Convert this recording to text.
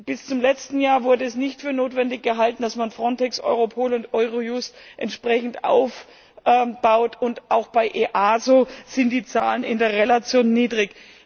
Bis zum letzten Jahr wurde es nicht für notwendig gehalten, dass man FRONTEX, Europol und Eurojust entsprechend aufbaut, und auch bei EASO sind die Zahlen in der Relation niedrig.